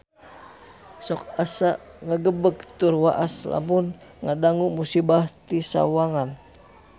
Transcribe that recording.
Sok asa ngagebeg tur waas lamun ngadangu musibah di Sawangan